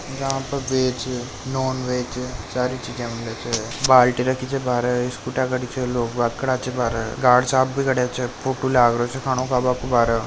यहां पे veg non veg सारी चीजा मिले छ बाल्टी रखी छ बारे स्कूटिया गाड़ी छ लोग बाहर खड़्या छ गार्ड साहब भी खड़्या छ फोटो लाग रहियो से खानो खाबा के बारे।